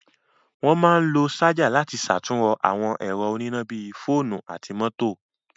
Wọ́n máa ń lo ṣájà láti ṣàtúnrọ àwọn ẹ̀rọ oníná bí i fóònú àti mọ́tò.